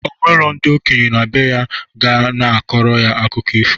O nwero ndị okenye na bee ya ga na-akọrọ ya akụkọ ifo